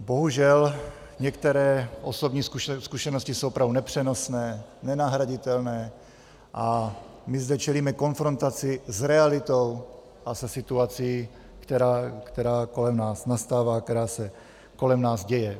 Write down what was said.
Bohužel, některé osobní zkušenosti jsou opravdu nepřenosné, nenahraditelné a my zde čelíme konfrontaci s realitou a se situací, která kolem nás nastává, která se kolem nás děje.